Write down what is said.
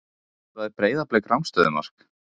Skoraði Breiðablik rangstöðumark?